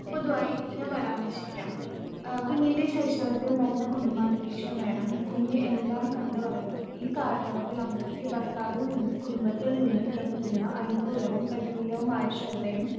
പൊതുവായി ഞാൻ പരാമർശിക്കാം ആ കുഞ്ഞിന്റെ ശൈശവത്തിൽ നല്ല കുടുംബാന്തരീക്ഷം വേണം കുഞ്ഞ് എല്ലാം കണ്ടു വളരും ഈ കാലയളവിൽ അമ്മയ്ക്ക് ഭർത്താവിൽ നിന്നും കുടുംബത്തിൽ നിന്നും ലഭിക്കുന്ന അനുകൂലവും പ്രതികൂലവുമായ ശ്രദ്ധയും